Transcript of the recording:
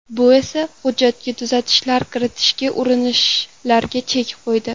Bu esa hujjatga tuzatishlar kiritishga urinishlarga chek qo‘ydi.